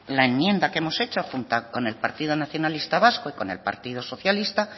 la enmienda que hemos hecho junto con el partido nacionalista vasco y con el partido socialista